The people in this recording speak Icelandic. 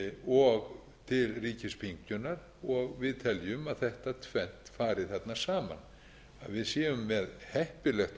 og til ríkispyngjunnar og við teljum að þetta tvennt fari þarna saman við séum með heppilegt